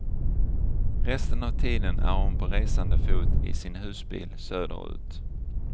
Resten av tiden är hon på resande fot i sin husbil söder ut.